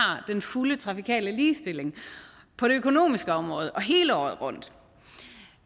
den fulde trafikale ligestilling på det økonomiske område og hele året rundt